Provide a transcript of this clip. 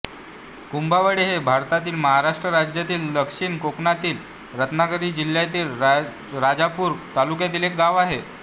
कुंभवडे हे भारतातील महाराष्ट्र राज्यातील दक्षिण कोकणातील रत्नागिरी जिल्ह्यातील राजापूर तालुक्यातील एक गाव आहे